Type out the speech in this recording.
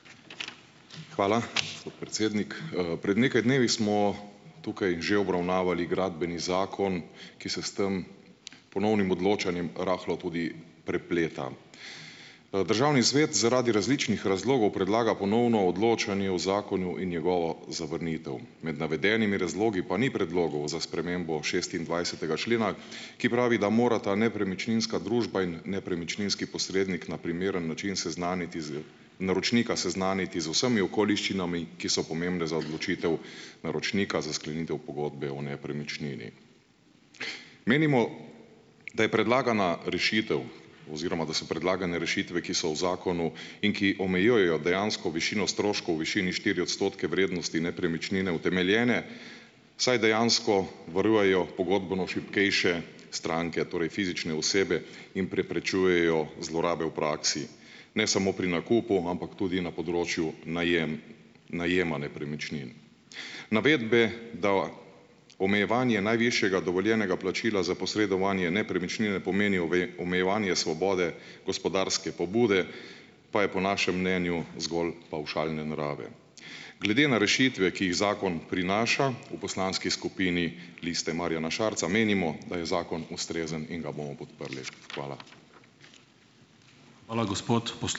Hvala, gospod predsednik. Pred nekaj dnevi smo tukaj že obravnavali gradbeni zakon, ki se s tem ponovnim odločanjem rahlo tudi prepleta. Državni svet zaradi različnih razlogov predlaga ponovno odločanje o zakonu in njegovo zavrnitev. Med navedenimi razlogi pa ni predlogov za spremembo šestindvajsetega člena, ki pravi, da morata nepremičninska družba in nepremičninski posrednik na primeren način seznati z naročnika seznaniti z vsemi okoliščinami, ki so pomembne za odločitev naročnika za sklenitev pogodbe o nepremičnini. Menimo, da je predlagana rešitev oziroma da so predlagane rešitve, ki so v zakonu in ki omejujejo dejansko višino stroškov v višini štiri odstotke vrednosti nepremičnine, utemeljene, saj dejansko varujejo pogodbeno šibkejše stranke, torej fizične osebe, in preprečujejo zlorabe v praksi, ne samo pri nakupu, ampak tudi na področju najem najema nepremičnin. Navedbe, da omejevanje najvišjega dovoljenega plačila za posredovanje nepremičnine pomenijo omejevanje svobode gospodarske pobude, pa je po našem mnenju zgolj pavšalne narave. Glede na rešitve, ki jih zakon prinaša, v poslanski skupini Liste Marjana Šarca menimo, da je zakon ustrezen in ga bomo podprli. Hvala.